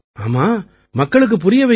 ஆமா மக்களுக்குப் புரிய வையுங்க